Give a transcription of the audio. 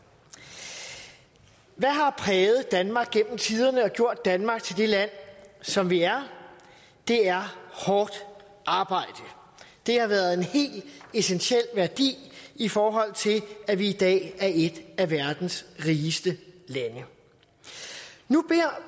hvad har præget danmark gennem tiderne og gjort danmark til det land som vi er det er hårdt arbejde det har været en helt essentiel værdi i forhold til at vi i dag er et af verdens rigeste lande nu beder